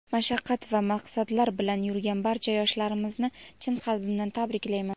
mashaqqat va maqsadlar bilan yurgan barcha yoshlarimizni chin qalbimdan tabriklayman.